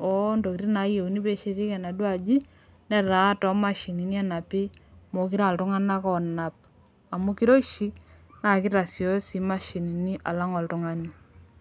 oo ntokitin naayieuni pee eshetieki enaduoo aji. netaa too mashinini enapi. meekure aa iltunganak oonap. amu kiroshi ktasioyo sii imashini alang' oltungani.